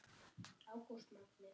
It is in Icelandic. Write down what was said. Jón Júlíus: Gaman?